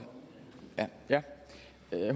her